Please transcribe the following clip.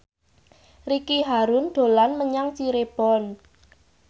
Ricky Harun dolan menyang Cirebon